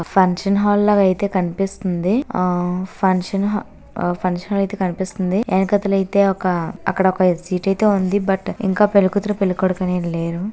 ఆ వచ్చేసి మనకి. ఫంక్షన్ హాల్లోవే. కనిపిస్తుంది. ఆ ఫంక్షన్ హల్ చల్ చేస్తోంది. ఇక తలెత్తే ఒక అక్కడ పరిస్థితి ఉంటోంది. భర్త ఇంకా పెళ్లి కూతురు పెళ్లి కొడుకు--